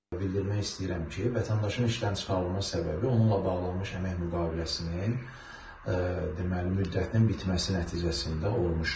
bildirmək istəyirəm ki, vətəndaşın işdən çıxarılma səbəbi onunla bağlanmış əmək müqaviləsinin deməli müddətinin bitməsi nəticəsində olmuşdur.